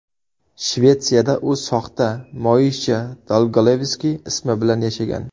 Shvetsiyada u soxta – Moisha Dolgolevskiy ismi bilan yashagan .